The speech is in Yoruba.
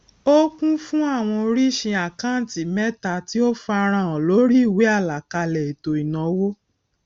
ó kún fún awọn oríṣi àkántì mẹta tí ó farahàn lórí ìwé àlàkalẹ ètò ìnáwó